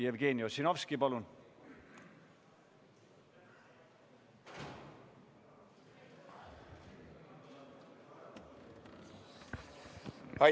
Jevgeni Ossinovski, palun!